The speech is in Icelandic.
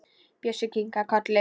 Bjössi kinkar kolli.